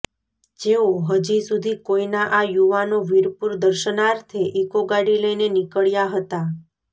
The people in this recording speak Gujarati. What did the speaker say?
જેઓ હજી સુધી કોઈના આ યુવાનો વીરપુર દર્શનાર્થે ઈકો ગાડી લઈને નીકળ્યા હતા